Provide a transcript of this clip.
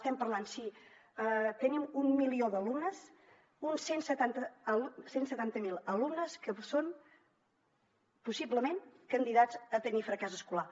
estem parlant si tenim un milió d’alumnes uns cent i setanta miler alumnes que són possiblement candidats a tenir fracàs escolar